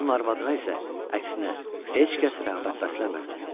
Onun arvadına isə əksinə heç kəs rəğbət bəsləmirdi.